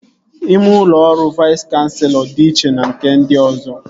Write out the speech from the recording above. Ime ụlọ ọrụ Vais Kanselọ dị iche na nke ndị ọzọ